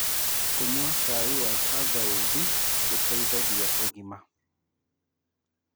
Kũnyua cai wa tangaũthĩ gũteĩthagĩa ũgima